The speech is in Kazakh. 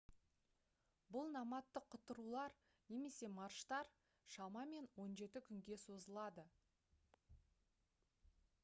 бұл номадтық құтырулар немесе марштар шамамен 17 күнге созылады